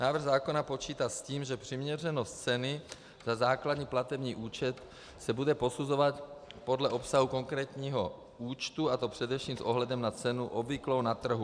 Návrh zákona počítá s tím, že přiměřenost ceny za základní platební účet se bude posuzovat podle obsahu konkrétního účtu, a to především s ohledem na cenu obvyklou na trhu.